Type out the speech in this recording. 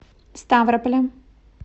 ставрополя